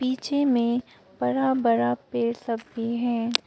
पीछे में बड़ा बड़ा पेड़ सब भी है।